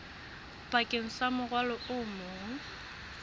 bakeng sa morwalo o mong